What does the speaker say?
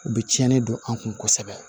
U bɛ tiɲɛni don an kun kosɛbɛ